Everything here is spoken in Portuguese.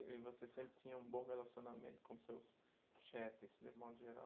E você sempre tinha um bom relacionamento com seus chefes, de modo geral